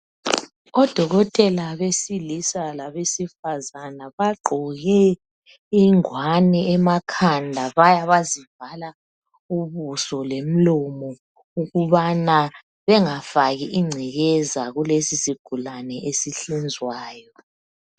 Odokotela besilisa labesifazana bagqoke ingwane emakhanda baya bazivala ubuso lomlomo ukubana bengafaki ingcekeza kulesisigulane esihlinzwayo.